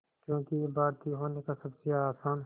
क्योंकि ये भारतीय होने का सबसे आसान